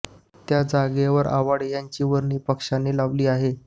त्या जागेवर आव्हाड यांची वर्णी पक्षाने लावली आहे